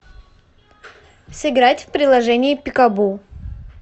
сыграть в приложение пикабу